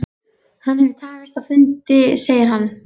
Hann hefur tafist á fundi segir hann.